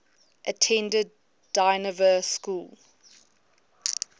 attended dynevor school